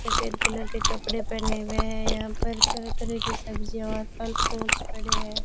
सफेद कलर के कपड़े पहने हुए हैं यहां पर तरह तरह की सब्जीयां और फल फ्रूट्स पड़े हैं।